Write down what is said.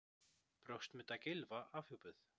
Brjóstmynd af Gylfa afhjúpuð